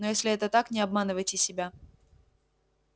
но если это так не обманывайте себя